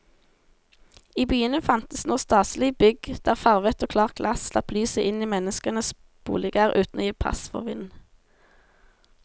I byene fantes nå staselige bygg der farvet og klart glass slapp lyset inn i menneskenes boliger uten å gi pass for vind.